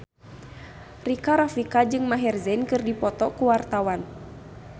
Rika Rafika jeung Maher Zein keur dipoto ku wartawan